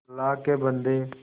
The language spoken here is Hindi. अल्लाह के बन्दे